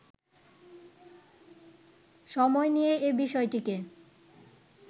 সময় নিয়ে এ বিষয়টিকে